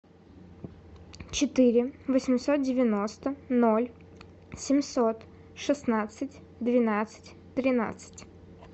четыре восемьсот девяносто ноль семьсот шестнадцать двенадцать тринадцать